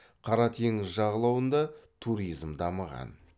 қара теңіз жағалауында туризм дамыған